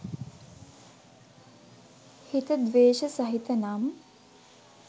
හිත ද්වේෂ සහිත නම්